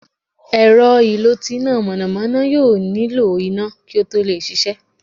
èrọ́ ìló tí ina mọnamọna yóò niló iná ki o to lẹ ṣiṣẹ.